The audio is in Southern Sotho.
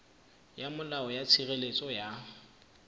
ya molao ya tshireletso ya